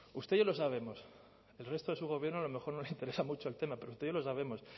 usted y yo lo sabemos al resto de su gobierno a lo mejor no le interesa mucho el tema pero usted y yo lo sabemos